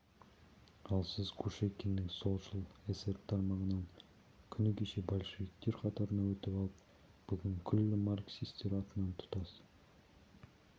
ал сіз кушекинның солшыл эсер тармағынан күні кеше большевиктер қатарына өтіп алып бүгін күллі марксистер атынан тұтас